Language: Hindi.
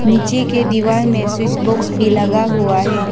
नीचे के दीवार में स्विच बॉक्स भी लगा हुआ है।